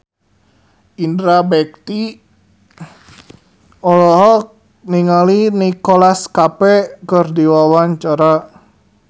Indra Bekti olohok ningali Nicholas Cafe keur diwawancara